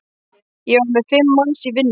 Ég var með fimm manns í vinnu.